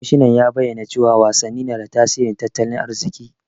Kwamishinan ya bayyana cewa wasanni na da tasirin tattalin arziki.